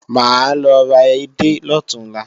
Mà á lọ ra edé lọ̀túnla